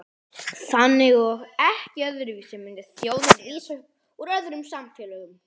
Þannig og ekki öðruvísi myndi þjóðin rísa upp úr öðrum samfélögum.